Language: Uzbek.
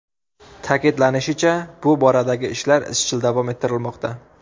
Ta’kidlanishicha, bu boradagi ishlar izchil davom ettirilmoqda.